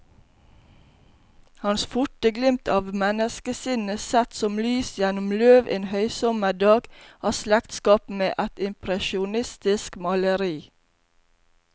Hans forte glimt av menneskesinnet, sett som lys gjennom løv en høysommerdag, har slektskap med et impresjonistisk maleri.